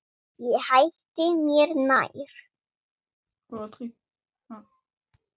Ég hætti mér nær.